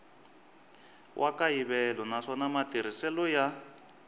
wa kayivela naswona matirhiselo ya